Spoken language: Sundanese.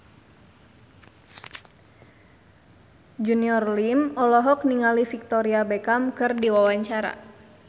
Junior Liem olohok ningali Victoria Beckham keur diwawancara